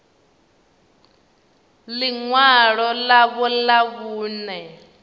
ḽi ṅwalo ḽavho ḽa vhuṋe